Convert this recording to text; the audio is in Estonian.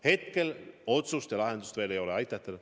Hetkel otsust lahenduse kohta veel ei ole.